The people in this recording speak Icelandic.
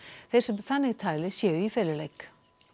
þeir sem þannig tali séu í feluleik